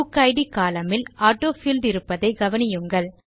புக்கிட் column இல் autofield இருப்பதை கவனியுங்கள்